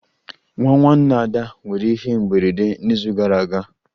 Nwa nwanne ada nwere ihe mberede n'izu gara aga